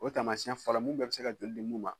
O ye tamasiyɛn fɔlɔ mu bɛɛ be se ka joli di mun ma